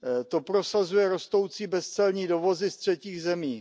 To prosazuje rostoucí bezcelní dovozy z třetích zemí.